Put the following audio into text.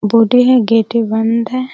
Body है गेटे भी बंद हैं।